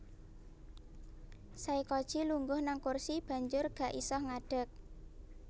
Saykoji lungguh nang kursi banjur gak iso ngadeg